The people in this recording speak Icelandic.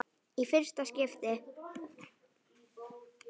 Í fyrsta skipti.